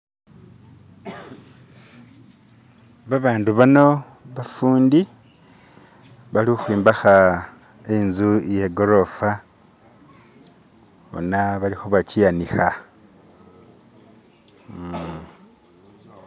babandu bano bafundi bali khukhwombekha inzu iyegorofaa bona balikhebakyianikha hmm.